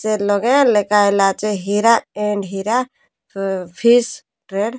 Chain ଲଗାର ଲେକା ଲାଚେ Hira and Hira office train.